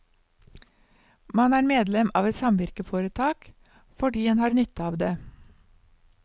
Man er medlem av et samvirkeforetak, fordi en har nytte av det.